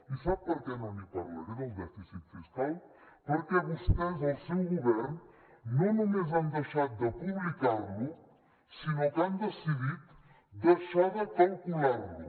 i sap per què no n’hi parlaré del dèficit fiscal perquè vostès el seu govern no només han deixat de publicar lo sinó que han decidit deixar de calcular lo